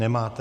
Nemáte.